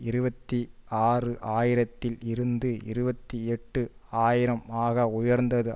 இருபத்தி ஆறு ஆயிரத்தில் இருந்து இருபத்தி எட்டு ஆயிரம் ஆக உயர்ந்தது